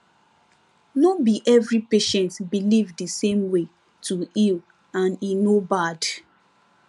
no be every patient believe the same way to heal and e no bad